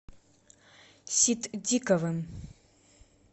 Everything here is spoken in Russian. ситдиковым